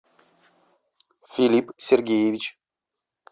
филипп сергеевич